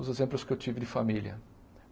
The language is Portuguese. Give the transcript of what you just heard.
Os exemplos que eu tive de família.